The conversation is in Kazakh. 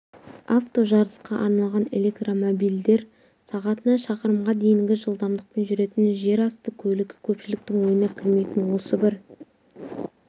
авто жарысқа арналған электромобильдер сағатына шақырымға дейінгі жылдамдықпен жүретін жерасты көлігі көпшіліктің ойына кірмейтін осы бір